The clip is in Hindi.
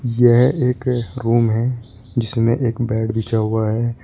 यह एक रूम है जिसमें एक बेड बिछा हुआ है।